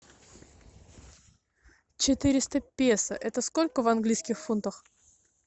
четыреста песо это сколько в английских фунтах